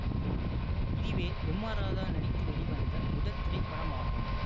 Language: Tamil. இதுவே எம் ஆர் ராதா நடித்து வெளிவந்த முதல் திரைப்படம் ஆகும்